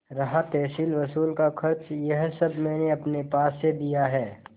रहा तहसीलवसूल का खर्च यह सब मैंने अपने पास से दिया है